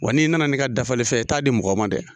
Wa n'i nana n'i ka dafali fɛn ye i t'a di mɔgɔ ma dɛ.